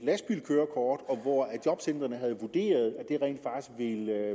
lastbilkørekort og hvor jobcentrene havde vurderet at det